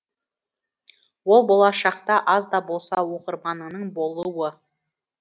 ол болашақта аз да болса оқырманыңның болуы